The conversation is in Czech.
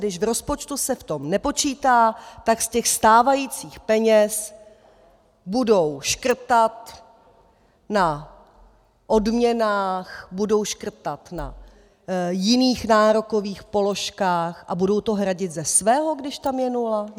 Když v rozpočtu se s tím nepočítá, tak z těch stávajících peněz budou škrtat na odměnách, budou škrtat na jiných nárokových položkách a budou to hradit ze svého, když tam je nula?